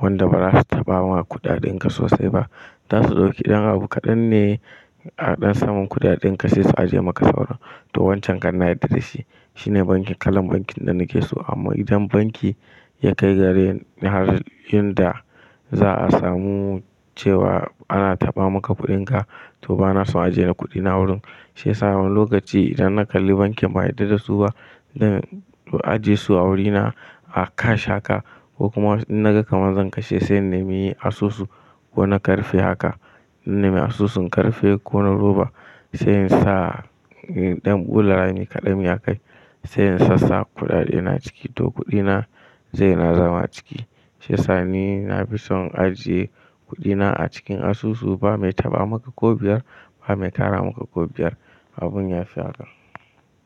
wanda ba za su taɓa wa kuɗaɗinka sosai ba. Za su ɗauki ɗan abu kaɗan ne a ɗan samun kuɗaɗinka sai su ajiye maka saura. To wancan kan na yarda da shi. Shine banki, kalan bankin da nake so. Amma idan banki ya kai ga har inda za a samu cewa ana taɓa maka kuɗinka, to ba na so a jera kuɗina wurin. Sai yasa wani lokaci idan na kalli bankin ban yarda da su ba, zan ajiye su a wurina a cash haka, ko kuma in na ga kaman zan kashe, sai na maye asusu ko na karfe haka. Nime asusun karfe ko na roba sai in sa in ɗan bula ne kaɗam ya kai. Sai in sassa kuɗaɗena ciki to kuɗina zai na zama ciki. Shiyasa ni na fi son ajiye kuɗina a cikin asusu ba mai taɓa maka ko biyar, ba mai tara maka ko biyar abun ya fi haka.